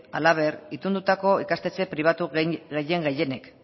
halaber itundutako ikastetxe pribatu gehien gehienek